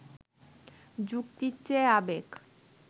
যুক্তির চেয়ে আবেগ